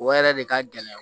O yɛrɛ de ka gɛlɛn